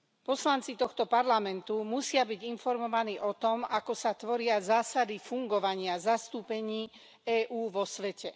Poslanci tohto parlamentu musia byť informovaní o tom, ako sa tvoria zásady fungovania zastúpení EÚ vo svete.